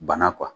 Bana